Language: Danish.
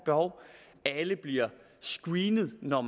behov alle bliver screenet når